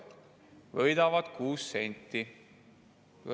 võidetakse 6 senti.